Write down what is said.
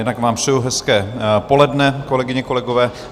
Jednak vám přeju hezké poledne, kolegyně, kolegové.